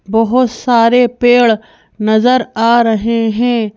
बहुत सारे पेड़ नजर आ रहे हैं।